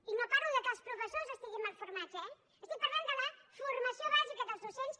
i no parlo que els professors estiguin mal formats eh estic parlant de la formació bàsica dels docents